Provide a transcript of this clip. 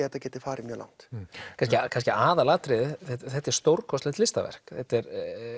þetta geti farið mjög langt kannski kannski aðalatriðið þetta er stórkostleg listaverk þetta er